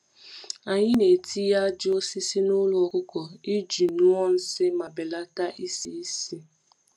Anyị na-etinye ájá osisi n’ụlọ ọkụkọ iji ṅụọ nsị ma belata isi ísì.